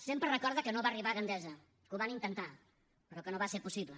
sempre recorda que no va arribar a gandesa que ho van intentar però que no va ser possible